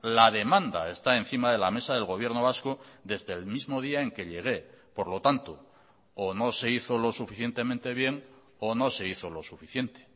la demanda está encima de la mesa del gobierno vasco desde el mismo día en que llegué por lo tanto o no se hizo lo suficientemente bien o no se hizo lo suficiente